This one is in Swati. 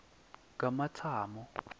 kamatsamo